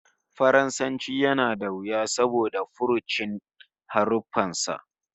Faransanci yana da wuya saboda furucin haruffan sa